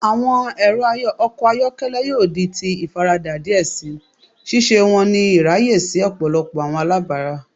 Awọn ẹrọ ọkọ ayọkẹlẹ yoo di ti ifarada diẹ sii, ṣiṣe wọn ni iraye si ọpọlọpọ awọn alabara.